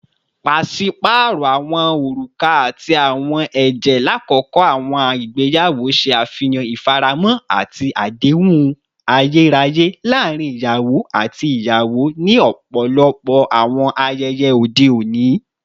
Paṣipaarọ awọn oruka ati awọn ẹjẹ lakoko awọn igbeyawo ṣe afihan ifaramo ati adehun ayeraye laarin iyawo ati iyawo ni ọpọlọpọ awọn ayẹyẹ ode oni.